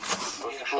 Yox, nə olacaq?